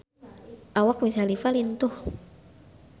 Awak Wiz Khalifa lintuh